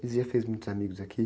Você já fez muitos amigos aqui?